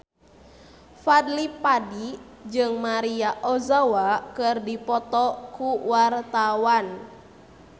Fadly Padi jeung Maria Ozawa keur dipoto ku wartawan